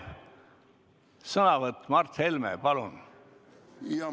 Viimane sõnavõtt, Mart Helme, palun!